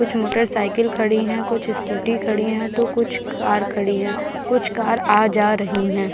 कुछ motorcycle खड़ी हैं कूछ स्कूटी खड़ी हैं तो कुछ कार खड़ी हैं कुछ कार आ-जा रही हैं।